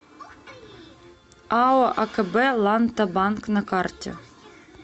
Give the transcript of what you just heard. ао акб ланта банк на карте